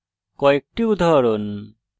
কয়েকটি উদাহরণ